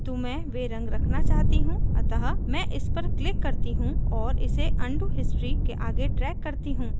किन्तु मैं वे रंग रखना चाहती हूँ अतः मैं इस पर click करती हूँ और इसे undo history के आगे drag करती हूँ